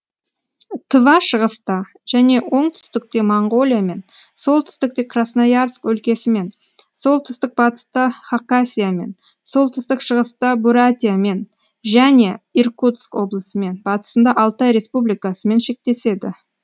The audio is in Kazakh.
тыва шығыста және оңтүстікте моңғолиямен солтүстікте красноярск өлкесімен солтүстік батыста хақасиямен солтүстік шығыста бурятиямен және иркутск облысымен батысында алтай республикасымен шектеседі